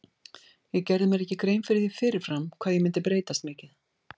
Ég gerði mér ekki grein fyrir því fyrir fram hvað ég myndi breytast mikið.